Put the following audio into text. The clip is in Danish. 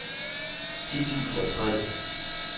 ti tusind og tre